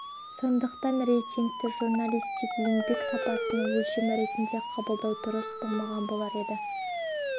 сондықтан рейтингті журналистік еңбек сапасының өлшемі ретінде қабылдау дұрыс болмаған болар еді